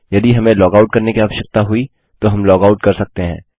यदि हमें लॉगआउट करने की आवश्यकता हुई तो हम लॉगआउट कर सकते हैं